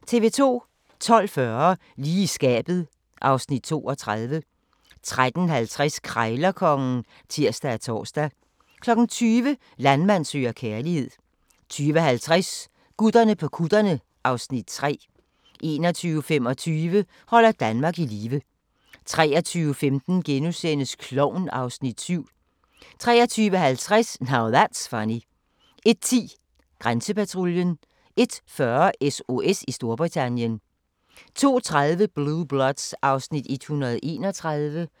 12:40: Lige i skabet (Afs. 32) 13:50: Krejlerkongen (tir og tor) 20:00: Landmand søger kærlighed 20:50: Gutterne på kutterne (Afs. 3) 21:25: Holder Danmark i live 23:15: Klovn (Afs. 7)* 23:50: Now That's Funny 01:10: Grænsepatruljen 01:40: SOS i Storbritannien 02:30: Blue Bloods (Afs. 131)